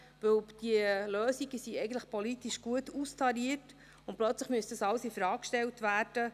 Denn die Lösungen sind eigentlich politisch gut austariert, und plötzlich müsste dies alles infrage gestellt werden.